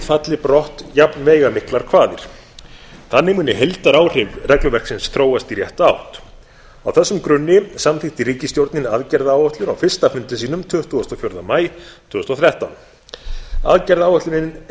falli brott jafnveigamiklar kvaðir þannig muni heildaráhrif regluverksins þróast í rétta átt á þessum grunni samþykkti ríkisstjórnin aðgerðaáætlun á fyrsta fundi sínum tuttugasta og fjórða maí tvö þúsund og þrettán aðgerðaáætlunin er